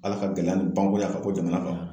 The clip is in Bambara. Ala ka gɛlɛya ni ban koyi a ka bɔ jamana kɔnɔ